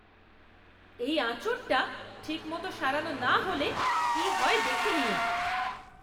এই আঁচড়টা ঠিক মতো সারানো না হলে কি হয় দেখে নিও।